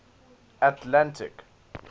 atlantic